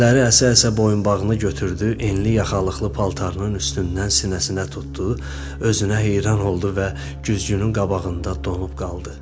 Əlləri əsə-əsə boyunbağını götürdü, enli yaxalıqlı paltarının üstündən sinəsinə tutdu, özünə heyran oldu və güzgünün qabağında donub qaldı.